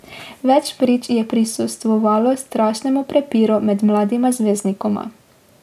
Več prič je prisostvovalo strašnemu prepiru med mladima zvezdnikoma.